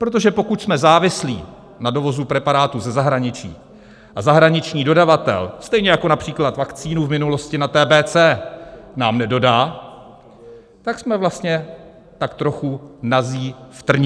Protože pokud jsme závislí na dovozu preparátů ze zahraničí, a zahraniční dodavatel, stejně jako například vakcínu v minulosti na TBC nám nedodá, tak jsme vlastně tak trochu nazí v trní.